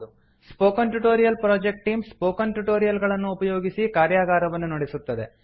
spoken tutorial project team spoken tutorial ಗಳನ್ನು ಉಪಯೋಗಿಸಿ ಕಾರ್ಯಗಾರವನ್ನು ನಡೆಸುತ್ತದೆ